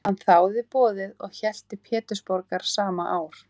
Hann þáði boðið og hélt til Pétursborgar sama ár.